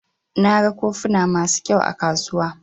Na gan kofuna masu ƙyau a kasuwa.